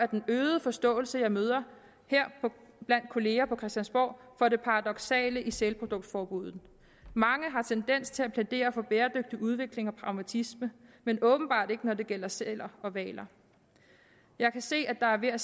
den øgede forståelse jeg møder her blandt kolleger på christiansborg for det paradoksale i sælproduktforbuddet mange har tendens til at plædere for bæredygtig udvikling og pragmatisme men åbenbart ikke når det gælder sæler og hvaler jeg kan se at der er ved at